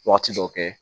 Waati dɔw kɛ